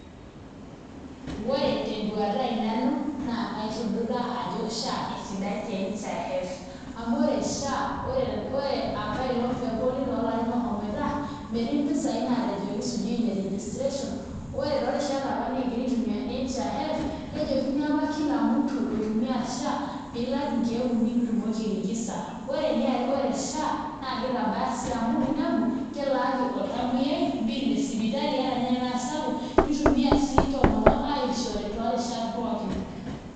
Ore tenduata aai nanu naa kaitudutaa ajo SHA esidai te NHIF amu ore SHA pee elotu apaelong' toolapaitin ooshomoita metii mpisaai naatejoiki sijui ineregistration ore toorishat apa nikigira aitumiaa NHIF kejokini apa kila mutu loitumiaa SHA pee ilak nkeek uni pee itumoki airejista ore ninye ore SHA naa kitabaya sii amu kelaaki oltamuoyiai bill e sipitali ata ninye enaa sapuk, nitumiaa sii ntomonok aishore toorishat pookin.